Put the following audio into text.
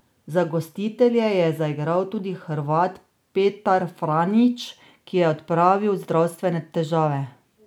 Za gostitelje je zaigral tudi Hrvat Petar Franjić, ki je odpravil zdravstvene težave.